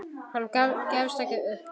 Hann gefst ekki upp.